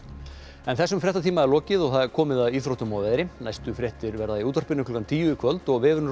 þessum fréttatíma er lokið og komið að íþróttum og veðri næstu fréttir verða í útvarpi klukkan tíu í kvöld og vefurinn